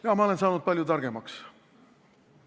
Jaa, ma olen saanud palju targemaks.